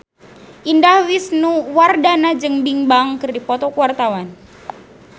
Indah Wisnuwardana jeung Bigbang keur dipoto ku wartawan